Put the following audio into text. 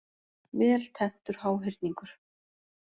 Vel tenntur háhyrningur.